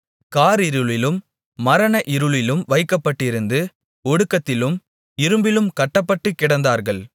காரிருளிலும் மரண இருளிலும் வைக்கப்பட்டிருந்து ஒடுக்கத்திலும் இரும்பிலும் கட்டப்பட்டு கிடந்தார்கள்